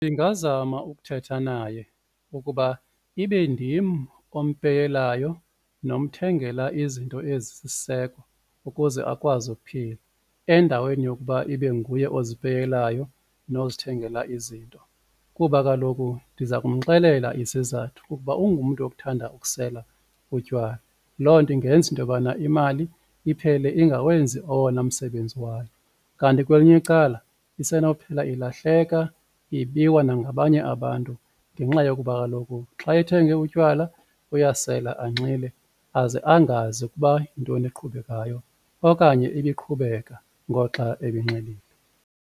Ndingazama ukuthetha naye ukuba ibe ndim ompeyelayo nomthengela izinto ezisisiseko ukuze akwazi ukuphila endaweni yokuba ibe nguye ozipeyelayo nozithengela izinto kuba kaloku ndiza kumxelela isizathu ukuba ungumntu okuthanda ukusela utywala loo nto ingenza into yobana imali iphele ingawenzi owona msebenzi wayo. Kanti kwelinye icala isenophela ilahleka, ibiwa nangabanye abantu ngenxa yokuba kaloku xa ethenge utywala uyasela anxile aze angazi ukuba yintoni eqhubekayo okanye ibiqhubeka ngoxa ebenxilile.